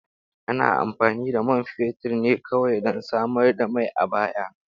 Ana amfani da man fetur ne kawai don samar da mai a baya.